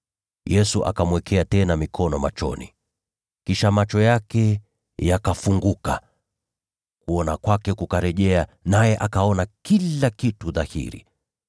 Yesu akamwekea tena mikono machoni. Kisha macho yake yakafunguka, kuona kwake kukarejea naye akaona kila kitu dhahiri.